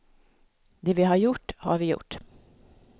Det vi har gjort, har vi gjort.